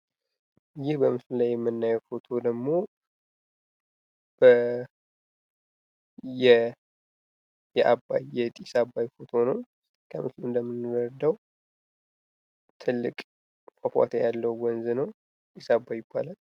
ይህ በምስሉ ላይ የምናየው ፎቶ ደግሞ የአባይ የጢስ አባይ ፎቶ ነው። ከምስሉ እንደምንረዳው ትልቅ ፏፏቴ ያለው ወንዝ ነው። ጢስአባይ ይባላል።